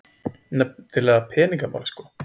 Nefnilega peningamálin sko.